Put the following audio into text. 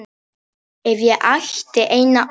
Ef ég ætti eina ósk.